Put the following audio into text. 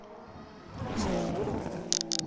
ho se na moloko o